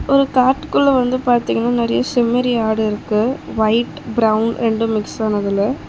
ஒரு காட்டுக்குள்ள வந்து பாதிங்னா நெறைய செம்மறி ஆடு இருக்கு ஒயிட் பிரவுன் ரெண்டு மிக்ஸ் ஆனதுல.